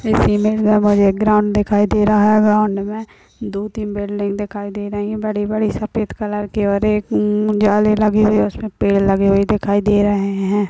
इस इमेज मे मुझे एक ग्राउन्ड दिखाई दे रहा है ग्राउन्ड मे दो तीन बिल्डिंग दिखाई दे रही है बड़ी- बड़ी सफेद कलर की और एक हमम जाली लगी हुई है उसमे पेड लगे हुवे दिखाई दे रहे है।